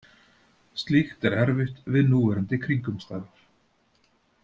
Slíkt er erfitt við núverandi kringumstæður.